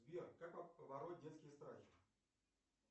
сбер как побороть детские страхи